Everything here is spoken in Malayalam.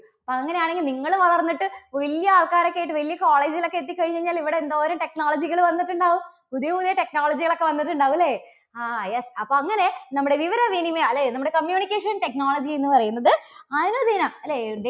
അങ്ങനെയാണെങ്കിൽ നിങ്ങള് വളർന്നിട്ട് വല്യ ആൾക്കാര് ഒക്കെ ആയിട്ട് വലിയ college ലൊക്കെ എത്തിക്കഴിഞ്ഞ് കഴിഞ്ഞാല് ഇവിടെ എന്തോരും technology കൾ വന്നിട്ടുണ്ടാവും? പുതിയ പുതിയ technology കൾ ഒക്കെ വന്നിട്ടുണ്ടാകും അല്ലേ? ആ yes അപ്പോൾ അങ്ങനെ നമ്മുടെ വിവരവിനിമയ അല്ലേ, നമ്മുടെ communication technology എന്ന് പറയുന്നത് അനുദിനം അല്ലേ